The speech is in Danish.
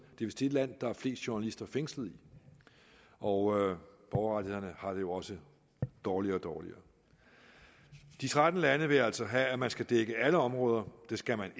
vist det land der er flest journalister fængslet i og borgerrettighederne har det jo også dårligere og dårligere de tretten lande vil altså have at man skal dække alle områder det skal man